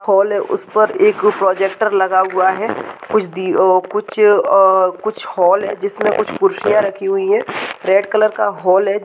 Hall है उसे पर एक प्रोजेक्टर लगा हुआ है कुछ दिनों कुछ और कुछ हॉल हैं जिसमें कुछ खुशियां रखी हुई हैं रेड कलर का हॉल है।